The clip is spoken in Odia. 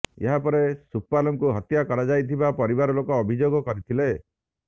ଏହା ପରେ ସୁପାଲଙ୍କୁ ହତ୍ୟା କରାଯାଇଥିବା ପରିବାର ଲୋକ ଅଭିଯୋଗ କରିଥିଲେ